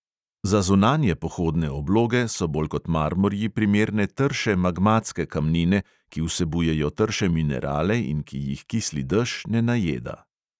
Za zunanje pohodne obloge so bolj kot marmorji primerne trše magmatske kamnine, ki vsebujejo trše minerale in ki jih kisli dež ne najeda.